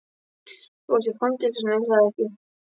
Þú varst í fangelsinu, er það ekki?